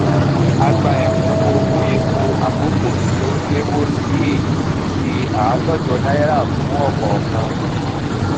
a gba èkúnwó owó èpo àkókó tí ó léwó sí i èyí tí n ṣe àádójọ náírà fún òkòòkan um